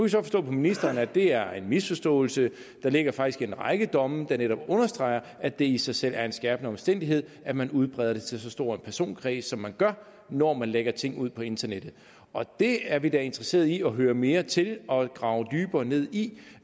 så forstå på ministeren at det er en misforståelse der ligger faktisk en række domme der netop understreger at det i sig selv er en skærpende omstændighed at man udbreder det til så stor en personkreds som man gør når man lægger ting ud på internettet det er vi da interesserede i at høre mere til og grave dybere ned i